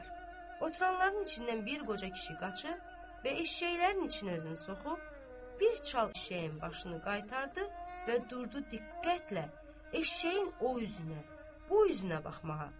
Oturanların içindən bir qoca kişi qaçıb və eşşəklərin içinə özünü soxub, bir çal eşşəyin başını qaytardı və durdu diqqətlə eşşəyin o üzünə, bu üzünə baxmağa.